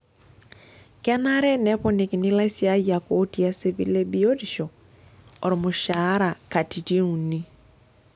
Kenare neponikini ilaisiyiak ootii esipil ebiotisho olmushaara katitin uni.